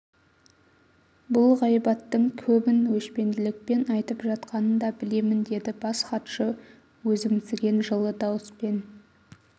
бұл ғайбаттың көбін өшпенділікпен айтып жатқанын да білемін деді бас хатшы өзімсіген жылы дауыспен